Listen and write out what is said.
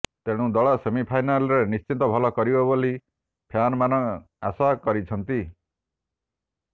ତେଣୁ ଦଳ ସେମିଫାଇନାଲ୍ରେ ନିଶ୍ଚିତ ଭଲ କରିବ ବୋଲି ଫ୍ୟାନ୍ମାନେ ଆଶା କରିଛନ୍ତି